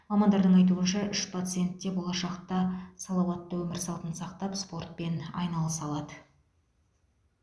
мамандардың айтуынша үш пациент те болашақта салауатты өмір салтын сақтап спортпен айналыса алады